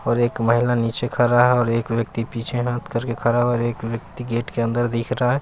और एक महिला नीचे खरा है और एक व्यक्ति पीछे हाथ करके खरा है और एक व्यक्ति गेट के अंदर दिख रा है।